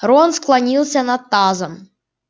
рон склонился над тазом